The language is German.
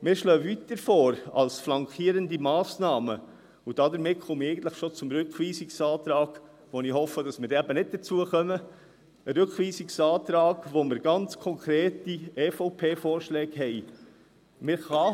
Wir schlagen als flankierende Massnahme weiterhin vor – damit komme ich eigentlich bereits zum Rückweisungsantrag, von dem ich hoffe, dass wir nicht mehr dazu kommen, ein Rückweisungsantrag, in dem wir ganz konkrete EVP-Vorschläge haben.